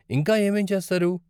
ఇంకా ఏమేం చేస్తారు?